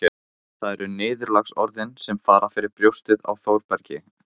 En það eru niðurlagsorðin sem fara fyrir brjóstið á Þórbergi